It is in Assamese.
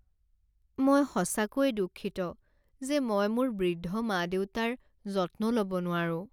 মই সঁচাকৈয়ে দুঃখিত যে মই মোৰ বৃদ্ধ মা দেউতাৰ যত্ন ল'ব নোৱাৰো।